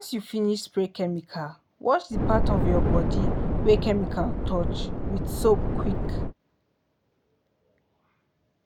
once you finish spray chemical wash the part of your body wey chemical touch with soap quick.